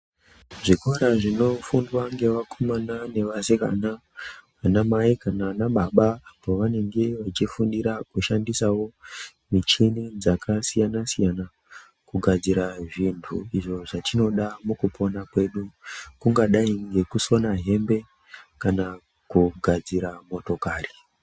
Zvikora zvinofundwa ngevakomana nevasikana, anamai kana anababa pavanenge vachifundira kushandisawo michini dzakasiyana-siyana kugadzira zvintu izvo zvatinoda kushandisa mukupona mwedu. Kungadai ngekusona hembe kana kugadzira motokari.